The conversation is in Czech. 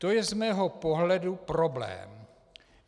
To je z mého pohledu problém.